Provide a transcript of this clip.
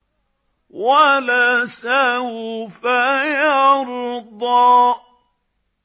وَلَسَوْفَ يَرْضَىٰ